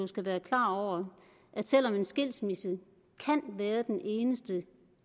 skal være klar over at selv om en skilsmisse kan være den eneste